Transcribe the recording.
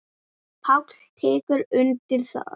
Páll tekur undir það.